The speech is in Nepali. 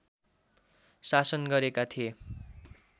शासन गरेका थिए